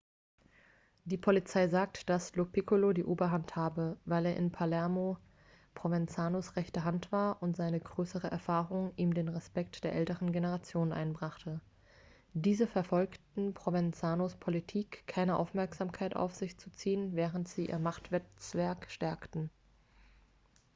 die polizei sagte dass lo piccolo die oberhand habe weil er in palermo provenzanos rechte hand war und seine größere erfahrung ihm den respekt der älteren generationen einbrachte diese verfolgten provenzanos politik keine aufmerksamkeit auf sich zu ziehen während sie ihr machtnetzwerk stärkten